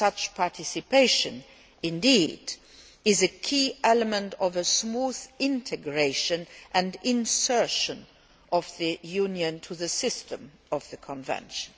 Such participation is indeed a key element in the smooth integration and insertion of the Union into the system of the convention.